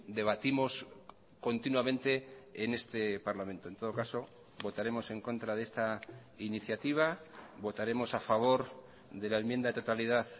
debatimos continuamente en este parlamento en todo caso votaremos en contra de esta iniciativa votaremos a favor de la enmienda de totalidad